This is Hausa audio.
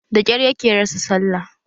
Da kyar yake rasa sallah